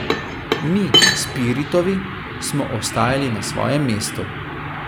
Mi, Spiritovi, smo ostajali na svojem mestu.